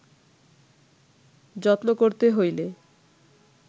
যত্ন করতে হইলে